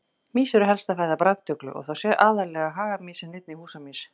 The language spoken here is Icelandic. Mýs eru helsta fæða brandugla og þá aðallega hagamýs en einnig húsamýs.